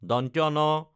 ন